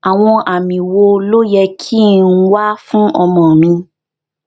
àwọn àmì wo ló yẹ kí n wá fún ọmọ mi